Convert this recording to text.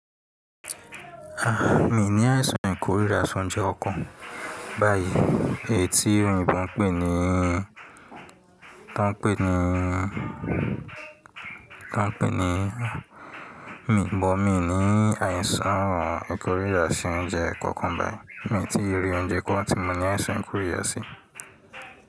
A, mi ò ní àìsàn ìkórìíra sọ́únjẹ kankàn báyìí, èyí tí Yorùbá ń pè níí, ta ń pè ní, ta ń pè ní, mi bọ̀, mi ní àìsàn ìkórìíra si oúnjẹ kan kan be. Mi tíi ri oúnjẹ kan ti mọ ní àìsàn ìkórìíra sí.